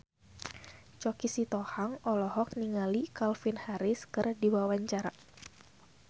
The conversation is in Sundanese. Choky Sitohang olohok ningali Calvin Harris keur diwawancara